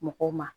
Mɔgɔw ma